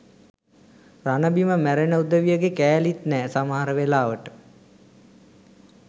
රණබිම මැරෙන උදවියගෙ කෑලිත් නෑ සමහර වෙලාවට.